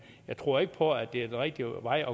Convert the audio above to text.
jeg tror ikke på at det er den rigtige vej